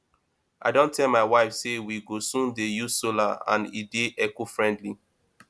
i don tell my wife say we go soon dey use solar and e dey eco friendly